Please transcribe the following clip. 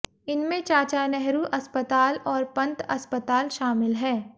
इनमें चाचा नेहरू अस्पताल और पंत अस्पताल शामिल है